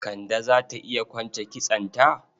Kande za ta iya kwance kitsonta?